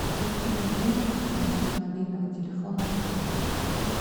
закинуть денег на счет мобильного телефона друга